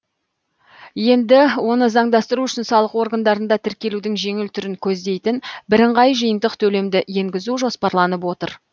енді оны заңдастыру үшін салық органдарында тіркелудің жеңіл түрін көздейтін бірыңғай жиынтық төлемді енгізу жоспарланып отыр